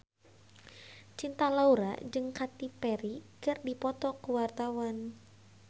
Cinta Laura jeung Katy Perry keur dipoto ku wartawan